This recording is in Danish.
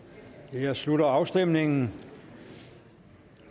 jeg slutter afstemningen